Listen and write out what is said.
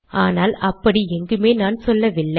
ஆனால் அப்படி எங்குமே நம் சொல்லவில்லை